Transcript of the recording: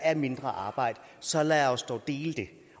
er mindre arbejde så lad os dog dele det